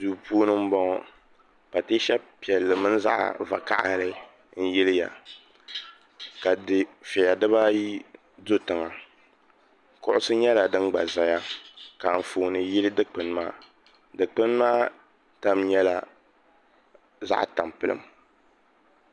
Duu puuni m-bɔŋɔ pateesa piɛlli mini zaɣ’ vakahili n-yiliya ka dufiɛya dibaayi do tiŋa kuɣusi nyɛla din gba zaya ka anfooni yili dikpuni maa dikpuni maa tam nyɛla zaɣ’ tampilim